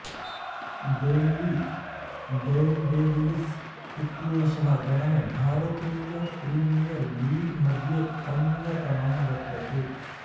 Delhi Daredevils इत्येषः गणः भारतीयप्रीमियर् लीग् मध्ये अन्यतमः वर्तते